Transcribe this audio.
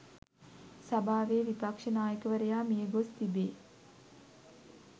සභාවේ විපක්ෂ නායකවරයා මියගොස් තිබේ.